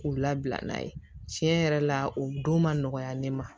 K'u labila n'a ye tiɲɛ yɛrɛ la o don ma nɔgɔya ne ma